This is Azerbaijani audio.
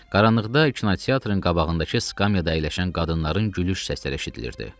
Qaranlıqda kinoteatrın qabağındakı skamyada əyləşən qadınların gülüş səsləri eşidilirdi.